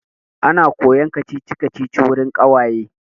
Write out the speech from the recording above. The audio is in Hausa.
Ana koyan kacici-kacici wurin ƙawaye.